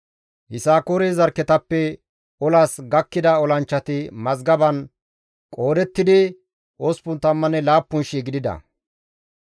Yisakoore zarkketappe olas gakkida olanchchati mazgaban qoodettidi 87,000 gidida.